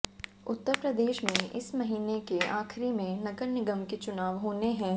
उत्तर प्रदेश में इस महीने के आखिरी में नगर निगम के चुनाव होने हैं